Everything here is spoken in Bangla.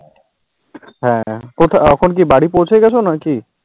হেঁ, এখন কি বাড়ি পৌছে গেছো নাকি?